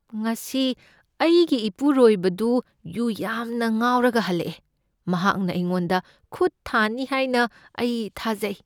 ꯉꯁꯤ ꯑꯩꯒꯤ ꯏꯄꯨꯔꯣꯏꯕꯗꯨ ꯌꯨ ꯌꯥꯝꯅ ꯉꯥꯎꯔꯒ ꯍꯜꯂꯛꯑꯦ꯫ ꯃꯍꯥꯛꯅ ꯑꯩꯉꯣꯟꯗ ꯈꯨꯠ ꯊꯥꯅꯤ ꯍꯥꯏꯅ ꯑꯩ ꯊꯥꯖꯩ꯫